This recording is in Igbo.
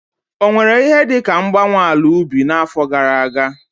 Ọ nwere ihe dị ka mgbanwe ala ubi n'afọ gara aga?